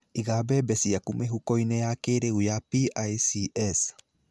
Iga mbembe ciaku mĩhuko-inĩ ya kĩrĩu ya PICS.